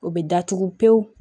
O bɛ datugu pewu